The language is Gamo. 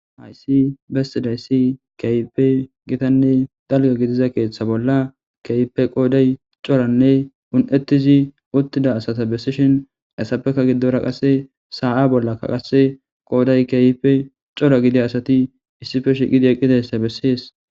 Haysi bestidayssi keyipe gitanne dalga gidiza keeththa bolla keeype qooday coranne un7ettizi uttida asata bessishin assapeka giddora qasse saa7a bollakka qase qooday keeype cora gidi asati issife shiqidi eqqidayssa bessees.